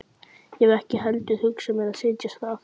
Ég hef ekki heldur hugsað mér að setjast þar að.